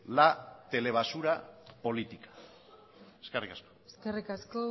la telebasura política eskerrik asko eskerrik asko